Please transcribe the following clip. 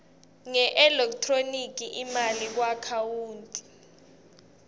ngeelekthroniki imali kuakhawunti